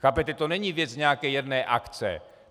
Chápete, to není věc nějaké jedné akce.